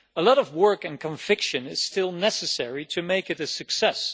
A lot of work and conviction is still necessary to make it a success.